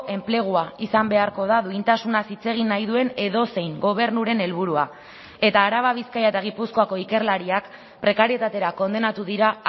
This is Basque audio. enplegua izan beharko da duintasunaz hitz egin nahi duen edozein gobernuren helburua eta araba bizkaia eta gipuzkoako ikerlariak prekarietatera kondenatu dira